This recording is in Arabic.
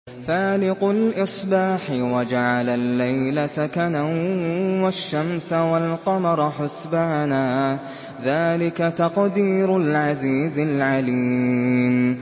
فَالِقُ الْإِصْبَاحِ وَجَعَلَ اللَّيْلَ سَكَنًا وَالشَّمْسَ وَالْقَمَرَ حُسْبَانًا ۚ ذَٰلِكَ تَقْدِيرُ الْعَزِيزِ الْعَلِيمِ